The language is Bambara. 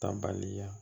Ta baliya